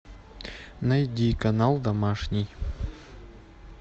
найди канал домашний